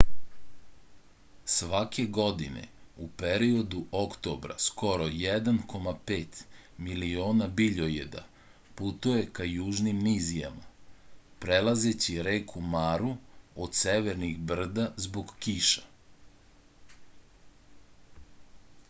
svake godine u periodu oktobra skoro 1,5 miliona biljojeda putuje ka južnim nizijama prelazeći reku maru od severnih brda zbog kiša